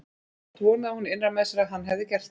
Samt vonaði hún innra með sér að hann hefði gert það.